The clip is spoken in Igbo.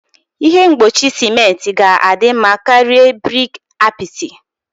Ihe mgbochi ciment ga-adị mma karịa brik apịtị